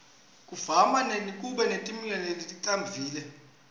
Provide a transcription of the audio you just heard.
kuvama kuba netimenywa leticavile